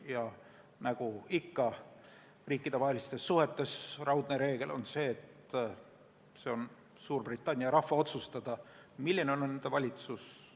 Ja nagu ikka riikidevahelistes suhetes, raudne reegel on see, et Suurbritannia rahvas otsustab, milline on nende valitsus.